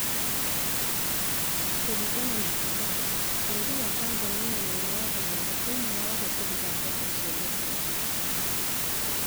Kũringana na Abbas, bũrũri wa Tanzania nĩũrĩ watho mwega thĩinĩ wa ũhũthĩri wa mbeca cia gĩthurano